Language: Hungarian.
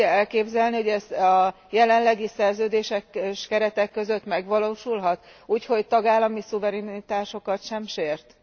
Nem tudja azt elképzelni, hogy ez a jelenlegi szerződéses keretek közt megvalósulhat úgy, hogy tagállami szuverenitásokat sem sért?